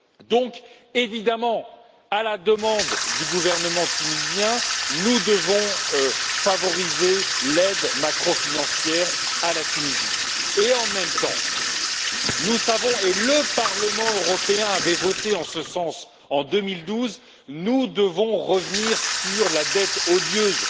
Donc, évidemment, à la demande du gouvernement tunisien, nous devons favoriser l'aide macro financière à la Tunisie et, en même temps, nous devons et le Parlement européen avait voté en ce sens en 2012 revenir sur la dette odieuse